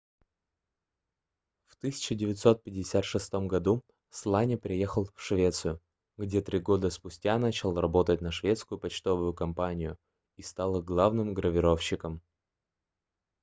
в 1956 году сланя переехал в швецию где три года спустя начал работать на шведскую почтовую компанию и стал их главным гравировщиком